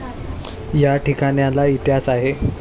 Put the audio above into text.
या ठिकाणाला इतिहास आहे.